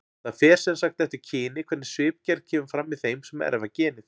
Það fer sem sagt eftir kyni hvernig svipgerð kemur fram í þeim sem erfa genið.